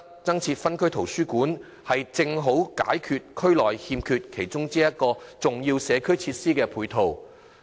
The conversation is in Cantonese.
增設分區圖書館，正好提供區內欠缺的其中一個重要社會設施配套。